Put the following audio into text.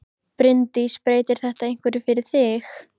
Bryndís: Breytir þetta einhverju fyrir þig?